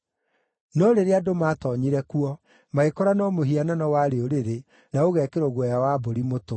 No rĩrĩa andũ maatoonyire kuo, magĩkora no mũhianano warĩ ũrĩrĩ, na ũgekĩrwo guoya wa mbũri mũtwe.